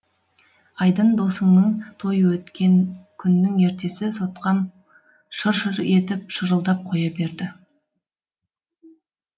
айдын досыңның тойы өткен күннің ертесі сотқам шыр шыр етіп шырылдап қоя берді